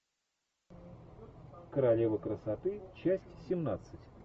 королева красоты часть семнадцать